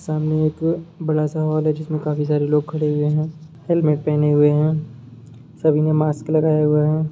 सामने एक बड़ा सा हॉल है जिसमे काफी सारे लोग खड़े हुए है हेलमेट पहने हुए है सभी ने मास्क लगाया हुआ है।